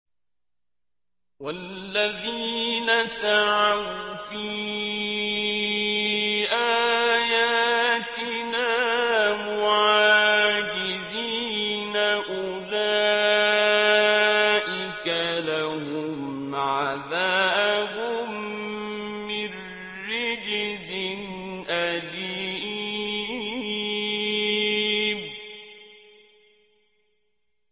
وَالَّذِينَ سَعَوْا فِي آيَاتِنَا مُعَاجِزِينَ أُولَٰئِكَ لَهُمْ عَذَابٌ مِّن رِّجْزٍ أَلِيمٌ